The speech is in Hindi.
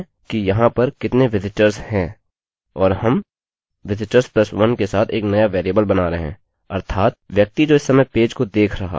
और हम visitors + 1के साथ एक नया वेरिएबल बना रहे हैं अर्थात व्यक्ति जो इस समय पेज को देख रहा है